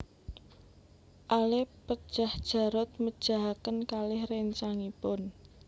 Ale pejah Jarot mejahaken kalih réncangipun